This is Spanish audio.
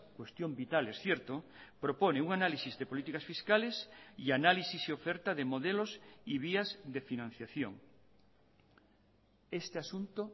cuestión vital es cierto propone un análisis de políticas fiscales y análisis y oferta de modelos y vías de financiación este asunto